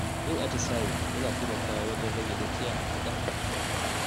Yin atisaye yana taimakawa wajen rage gajiya da ƙarfafa jiki.